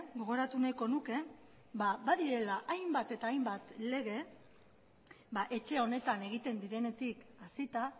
gogoratu nahiko nuke badirela hainbat eta hainbat lege etxe honetan egiten direnetik hasita